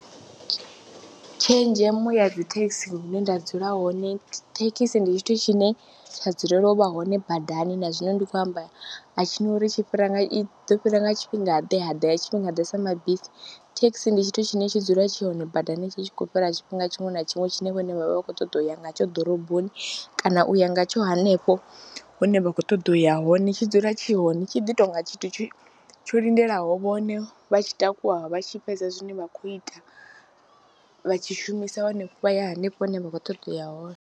Tshenzhemo ya dzi thekhisi hune nda dzula hone, thekhisi ndi tshithu tshine tsha dzulela u vha hone badani na zwino ndi khou amba a tshi na uri tshi fhira i ḓo fhira nga tshifhingaḓe, ha ḓa ha tshifhingaḓe sa mabisi, thekhisi ndi tshithu tshine tshi dzula tshi hone badani tshi tshi khou fhira tshifhinga tshiṅwe na tshiṅwe tshine vhone vha vha vha khou ṱoḓa u ya ngatsho ḓoroboni kana u ya ngatsho hanefho hune vha khou ṱoḓa u ya hone. Tshi dzula tshi hone, tshi ḓi tou nga tshithu tsho tsho lindelaho vhone vha tshi takuwa vha tshi fhedza zwine vha khou ita, vha tshi shumisa vha ya henefho hune vha khou ṱoḓa u ya hone.